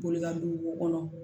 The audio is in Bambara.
Boli ka don wo kɔnɔ